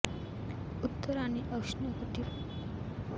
उत्तर आणि उष्ण कटिबंध दक्षिण सूर्य कळस येथे कधीही होत नाही